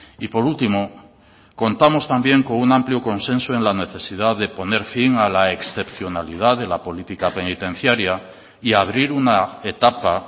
y por último contamos también con un amplio consenso en la necesidad de poner fin a la excepcionalidad de la política penitenciaria y abrir una etapa